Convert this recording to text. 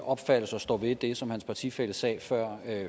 opfattelse og står ved det som hans partifælle sagde før